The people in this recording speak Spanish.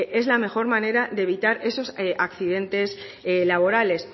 es la mejor manera de evitar esos accidentes laborales